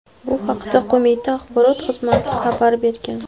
Bu haqda qo‘mita axborot xizmati xabar bergan .